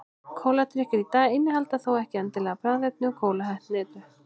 Kóladrykkir í dag innihalda þó ekki endilega bragðefni úr kólahnetu.